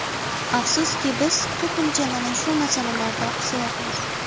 Afsuski, biz ko‘pincha mana shu masalalarda oqsayapmiz.